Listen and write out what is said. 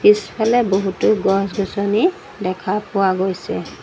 পিছফালে বহুতো গছ-গছনি দেখা পোৱা গৈছে।